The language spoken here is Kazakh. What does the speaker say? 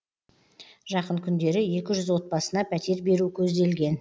жақын күндері екі жүз отбасына пәтер беру көзделген